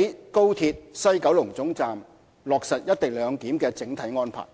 於高鐵西九龍總站落實"一地兩檢"的整體安排。